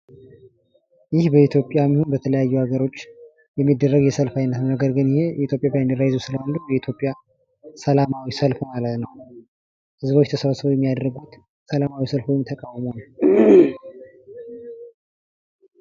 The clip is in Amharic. ይህ በኢትዮጵያ በተለያዩ ሀገሮች የሚደረግ የሰልፍ አይነት ነው። ነገር ግን የኢትዮጵያን ባንድራ ይዞ ስለሆነ የኢትዮጵያ ሰላማዊ ሰልፍ ነው። ህዝቦች ተሰብስበው የሚያደርጉት ሰላማዊ ሰልፍ ወይም ተቃውሞ ነው።